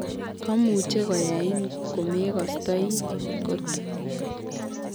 Komuche koyain komekostoi kot.